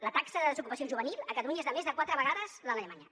la taxa de desocupació juvenil a catalunya és de més de quatre vegades l’alemanya